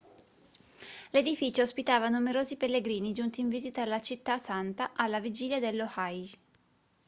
l'edificio ospitava numerosi pellegrini giunti in visita alla città santa alla vigilia dello hajj